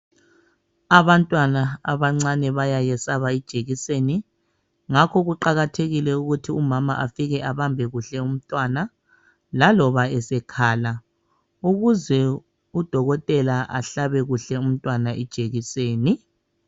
Abantwana abancane bayayesaba ijekiseni. Ngakho kuqakathekile ukuthi umama afike abambe kuhle umntwana. Laloba esekhala ,ukuze udokotela ahlabe kuhle umntwana ijekiseni.